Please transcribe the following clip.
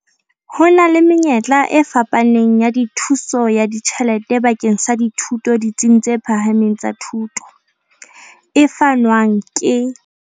Ho na le menyetla e fapaneng ya thuso ya ditjhelete bakeng sa dithuto ditsing tse phahameng tsa thuto, e fanwang ke.